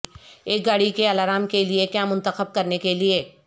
ایک گاڑی کے الارم کے لئے کیا منتخب کرنے کے لئے